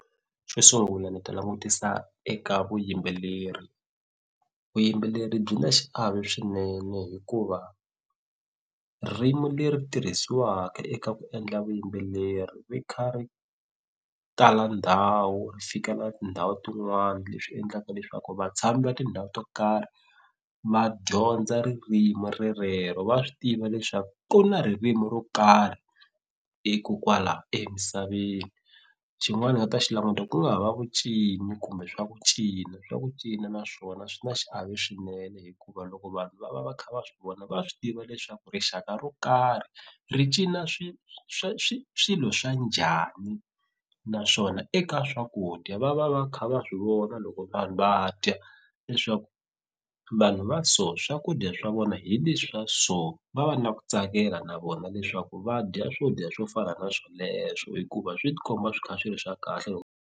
Xo sungula ni ta langutisa eka vuyimbeleri vuyimbeleri byi na xiave swinene hikuva ririmu leri tirhisiwaka eka ku endla vuyimbeleri ri kha ri tala ndhawu ri fika na tindhawu tin'wani leswi endlaka leswaku vatshami va tindhawu to karhi va dyondza ririmu rerero va swi tiva leswaku ku na ririmu ro karhi i ku kwala emisaveni xin'wana ni nga ta xi languta ku nga ha va vu cina kumbe swa ku cina swa ku cina naswona swi na xiave swinene hikuva loko vanhu va va va kha va swi vona va swi tiva leswaku rixaka ro karhi ri cina swi swi swilo swa njhani naswona eka swakudya va va va kha va swi vona loko vanhu va dya leswaku vanhu va so swakudya swa vona hi leswa so va va na ku tsakela na vona leswaku va dya swo dya swo fana na sweleswo hikuva swi tikomba swi kha swi ri swa kahle .